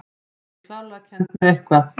Hann getur klárlega kennt mér eitthvað.